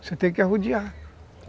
Você tem que arrodear.